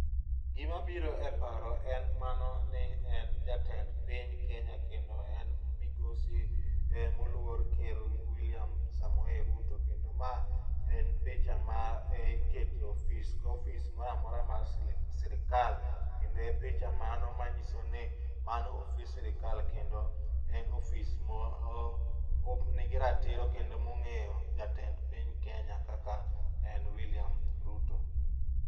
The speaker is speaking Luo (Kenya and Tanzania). Gima biro e paro en mano ni en jatend piny Kenya kendo en migosi moluor ker William Samoei Ruto kendo ma en picha mar keto ofis ka ofis moro amora mar sirkal. Kendo e picha mano manyiso ni mano ofis sirkal kendo en ofis ma nigi ratiro kendo mongeyo jatend piny Kenya kaka en William Ruto